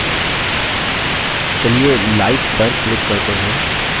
चलिए like पर click करते हैं